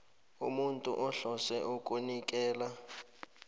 umuntu ohlose ukunikela